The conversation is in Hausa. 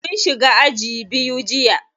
Mun shiga aji biyu jiya.